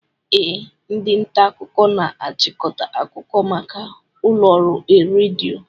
Ee, ndị nta akụkọ na-achịkọta akụkọ maka ụlọ ọrụ redio